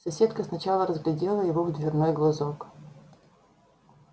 соседка сначала разглядела его в дверной глазок